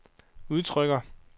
udtrykker